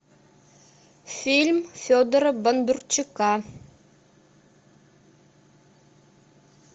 фильм федора бондарчука